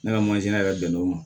Ne ka mansin yɛrɛ bɛnnen o ma